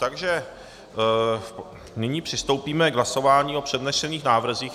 Takže nyní přistoupíme k hlasování o přednesených návrzích.